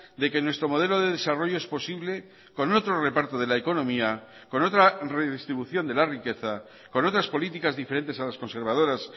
de que nuestro modelo de desarrollo es posible con otro reparto de la economía con otra redistribución de la riqueza con otras políticas diferentes a las conservadoras